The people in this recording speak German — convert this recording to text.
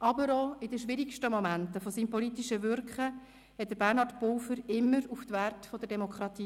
Aber auch in den schwierigsten Momenten seines politischen Wirkens verwies Bernhard Pulver immer auf die Werte der Demokratie.